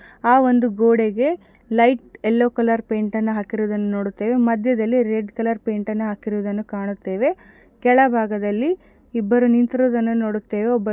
ಆ ಒಂದು ಗೋಡೆಗೆ ಲೈಟ್ ಯಲ್ಲೋ ಕಲರ್ ಪೈಂಟ್ ಅನ್ನ ಹಾಕಿರೋದನ್ನ ನೋಡುತ್ತೇವೆ ಮಧ್ಯದಲ್ಲಿ ರೆಡ್ ಕಲರ್ ಪೈಂಟ್ ಅನ್ನ ಹಾಕಿರೋದನ್ನ ಕಾಣುತ್ತೇವೆ ಕೆಳಭಾಗದಲ್ಲಿ ಇಬ್ಬರು ನಿಂತಿರೋದನ್ನ ನೋಡುತ್ತೇವೆ ಒಬ್ಬ_